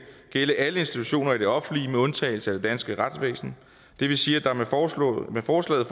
gælde i alle institutioner i det offentlige med undtagelse af det danske retsvæsen det vil sige at der med forslaget